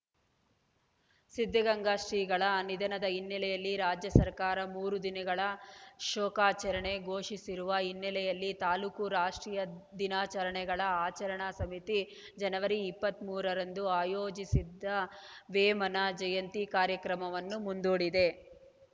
ಸಿದ್ಧಗಂಗಾ ಶ್ರೀಗಳ ನಿಧನದ ಹಿನ್ನೆಲೆಯಲ್ಲಿ ರಾಜ್ಯ ಸರ್ಕಾರ ಮೂರು ದಿನಗಳ ಶೋಕಾಚಾರಣೆ ಘೋಷಿಸಿರುವ ಹಿನ್ನೆಲೆಯಲ್ಲಿ ತಾಲೂಕು ರಾಷ್ಟ್ರೀಯ ದಿನಾಚರಣೆಗಳ ಆಚರಣಾ ಸಮಿತಿ ಜನವರಿ ಇಪ್ಪತ್ತ್ ಮೂರರಂದು ಆಯೋಜಿಸಿದ್ದ ವೇಮನ ಜಯಂತಿ ಕಾರ್ಯಕ್ರಮವನ್ನು ಮುಂದೂಡಿದೆ